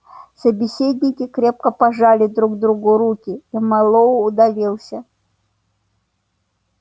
собеседники крепко пожали друг другу руки и мэллоу удалился